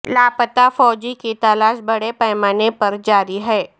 لاپتہ فوجی کی تلاش بڑے پیمانے پر جاری ہے